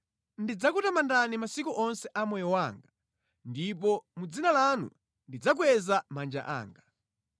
Ndidzakutamandani masiku onse a moyo wanga, ndipo mʼdzina lanu ndidzakweza manja anga.